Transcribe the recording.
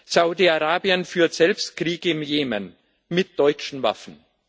Saudi Arabien führt selbst Krieg im Jemen mit deutschen Waffen.